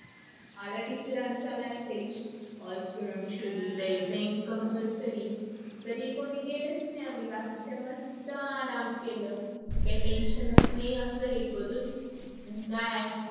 आला teacher चा message. all students should be present compulsory तरी कोणी गेलेच नाही आणी बाकीचे मस्त आराम केल. काही tension च नाही अस हे करून. अन काय